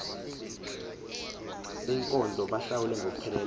beenkonzo bahlawule ngokupheleleyo